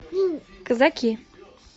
казаки